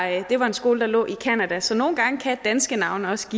at det var en skole der lå i canada så nogle gange kan danske navne også